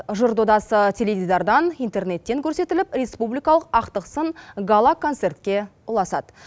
жыр додасы теледидардан интернеттен көрсетіліп республикалық ақтық сын гала концертке ұласады